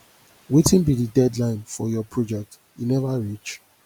wetin be di deadline for your project e never reach